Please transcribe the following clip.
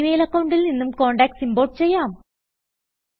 G mail അക്കൌണ്ടിൽ നിന്നും contacts import ചെയ്യാം